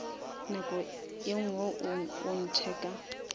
nako e ngwe o ntheka